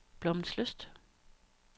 Blommenslyst